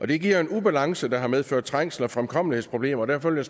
det giver jo en ubalance der har medført trængsel og fremkommelighedsproblemer og derfor vil